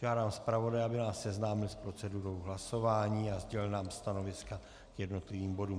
Požádám zpravodaje, aby nás seznámil s procedurou hlasování a sdělil nám stanoviska k jednotlivým bodům.